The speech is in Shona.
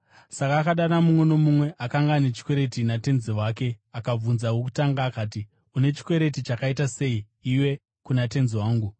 “Saka akadana mumwe nomumwe akanga ane chikwereti natenzi wake. Akabvunza wokutanga akati, ‘Une chikwereti chakaita sei iwe kuna tenzi wangu?’